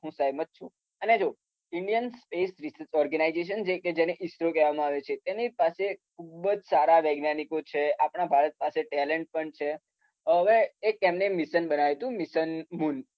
સહેમત છુ. અને જો ઈન્ડિયન સ્પેસ ઓર્ગેનાઈઝેશન કે જેને ઈસરો કહેવામાં આવે છે. કે જેની પાસે આજે ખુબ જ સારા વૈજ્ઞાનીકો છે આપણા ભારત પાસે ટેલેન્ટ પણ છે. હવે એમને એક મિશન બનાવ્યુ તુ. Mission moon.